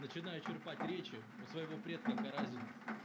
начиная черпать речи у своего предка каразина